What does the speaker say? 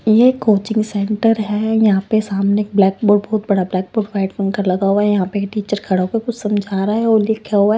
ये coaching centre है यहाँ पे सामने ब्लैक बोर्ड बहुत बड़ा ब्लैक बोर्ड वाइट फंकर लगा हुआ है यहाँ पे टीचर खड़ा होकर कुछ समझा रहा है और लिखा हुआ है।